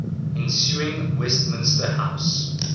ensuing westminster house